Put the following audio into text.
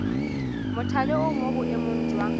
mothale o mo boemong jwa